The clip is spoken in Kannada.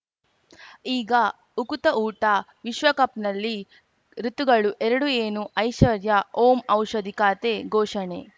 ಈಗ ಉಕುತ ಊಟ ವಿಶ್ವಕಪ್‌ನಲ್ಲಿ ಋತುಗಳು ಎರಡು ಏನು ಐಶ್ವರ್ಯಾ ಓಂ ಔಷಧಿ ಖಾತೆ ಘೋಷಣೆ